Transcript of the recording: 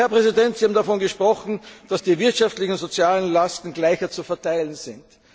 Aber, Herr Präsident, Sie haben davon gesprochen, dass die wirtschaftlichen und sozialen Lasten gerechter zu verteilen sind.